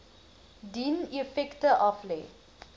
dien effekte aflê